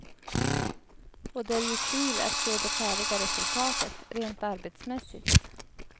Och det är ju kul att se det färdiga resultatet, rent arbetsmässigt.